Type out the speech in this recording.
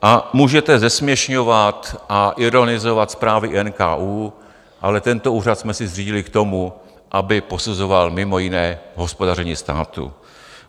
A můžete zesměšňovat a ironizovat zprávy NKÚ, ale tento úřad jsme si zřídili k tomu, aby posuzoval mimo jiné hospodaření státu.